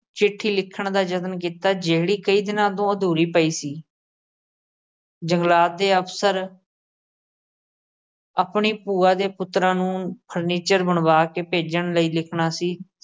ਚਿੱਠੀ ਲਿਖਣ ਦਾ ਜਤਨ ਕੀਤਾ। ਜਿਹੜੀ ਕਈ ਦਿਨਾਂ ਤੋਂ ਅਧੂਰੀ ਪਈ ਸੀ। ਜੰਗਲਾਤ ਦੇ ਅਫਸਰ ਆਪਣੀ ਭੂਆ ਦੇ ਪੁੱਤਰਾਂ ਨੂੰ ਫਰਨੀਚਰ ਬਣਵਾਕੇ ਭੇਜਣ ਲਈ ਲਿਖਣਾ ਸੀ।